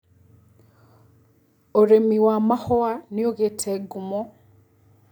ũrĩmi wa mahũa nĩũgĩte ngumo.